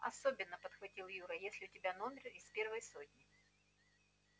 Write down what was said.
особенно подхватил юра если у тебя номер из первой сотни